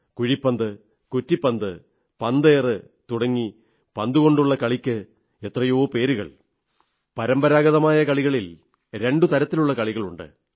കുഴിപ്പന്ത് കുറ്റിപ്പന്ത് പന്തേറ് തുടങ്ങി പന്തുകൊണ്ടുള്ള കളിക്ക് എത്രയോ പേരുകൾ പരമ്പരാഗതമായ കളികളിൽ രണ്ടു തരത്തിലുള്ള കളികളുണ്ട്